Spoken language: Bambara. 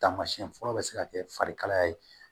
Taamasiyɛn fɔlɔ bɛ se ka kɛ farikalaya ye